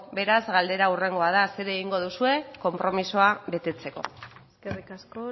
beraz galdera hurrengoa da zer egingo duzue konpromisoa betetzeko eskerrik asko